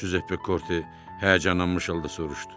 Cüzep Pekorti həyəcanlanmış halda soruşdu.